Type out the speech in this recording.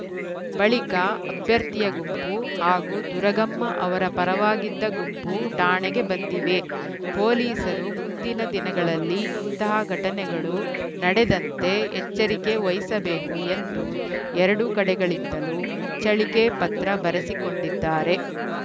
ಬಳಿಕ ಅಭ್ಯರ್ಥಿಯ ಗುಂಪು ಹಾಗೂ ದುರಗಮ್ಮ ಅವರ ಪರವಾಗಿದ್ದ ಗುಂಪು ಠಾಣೆಗೆ ಬಂದಿವೆ ಪೊಲೀಸರು ಮುಂದಿನ ದಿನಗಳಲ್ಲಿ ಇಂತಹ ಘಟನೆಗಳು ನಡೆದಂತೆ ಎಚ್ಚರಿಕೆ ವಹಿಸಬೇಕು ಎಂದು ಎರಡು ಕಡೆಗಳಿಂದಲೂ ಮುಚ್ಚಳಿಕೆ ಪತ್ರ ಬರೆಸಿಕೊಂಡಿದ್ದಾರೆ